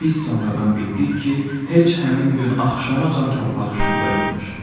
Biz sonradan bildik ki, heç həmin gün axşamacan torpağı şumlayıbmış.